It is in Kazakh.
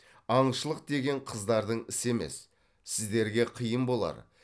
аңшылық деген қыздардың ісі емес сіздерге қиын болар